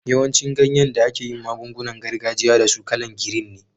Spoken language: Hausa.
Yawancin ganyen da ake yin magun-gunan gargajiya da su kala'n girin ne.